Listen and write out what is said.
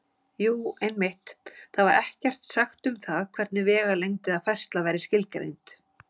Jú, einmitt: Þar var ekkert sagt um það hvernig vegalengd eða færsla væri skilgreind!